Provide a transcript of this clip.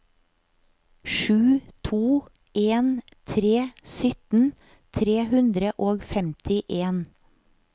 sju to en tre sytten tre hundre og femtien